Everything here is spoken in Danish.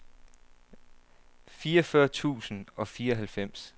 fireogfyrre tusind og fireoghalvfems